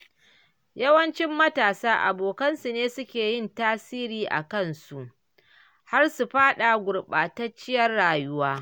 Yawancin matasa abokansu ne suke yin tasiri akan su, har su faɗa gurɓatacciyar rayuwa.